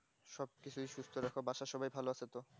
সবকিছুই সুস্থ রাখো বাসার সবাই ভালো আছে তো